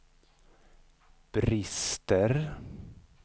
brister